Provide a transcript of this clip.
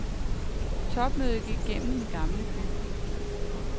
Topmødet gik gennem den gamle by.